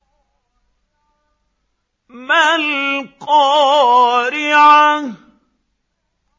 مَا الْقَارِعَةُ